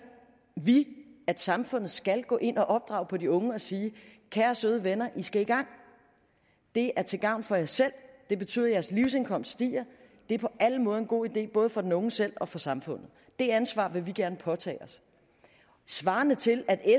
vi at samfundet skal gå ind og opdrage på de unge og sige kære søde venner i skal i gang det er til gavn for jer selv det betyder at jeres livsindkomst stiger det er på alle måder en god idé både for den unge selv og for samfundet det ansvar vil vi gerne påtage os det svarer til at